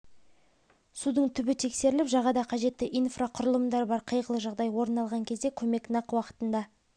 судың түбі тексеріліп жағада қажетті инфрақұрылымдар бар қайғылы жағдай орын алған кезде көмек нақ уақытында